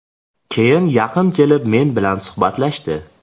Keyin yaqin kelib, men bilan suhbatlashdi.